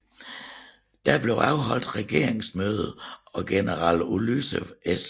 Der blev afholdt regeringsmøde og general Ulysses S